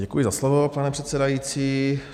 Děkuji za slovo, pane předsedající.